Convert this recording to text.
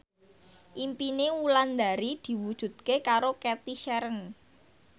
impine Wulandari diwujudke karo Cathy Sharon